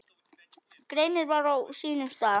Greinin var á sínum stað.